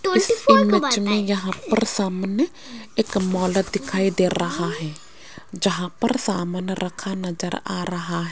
इस इमेज में यहां पर सामने एक मॉल दिखाई दे रहा है जहां पर सामान रखा नजर आ रहा --